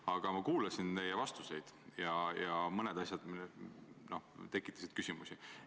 Aga ma kuulasin teie vastuseid ja mõned asjad tekitasid küsimusi.